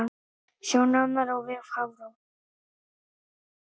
Sjá nánar á vef Hafró